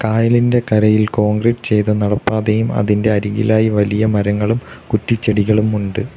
കായലിന്റെ കരയിൽ കോൺക്രീറ്റ് ചെയ്ത നടപ്പാതയും അതിൻ്റെ അരികിലായി വലിയ മരങ്ങളും കുറ്റിച്ചെടികളും ഉണ്ട്.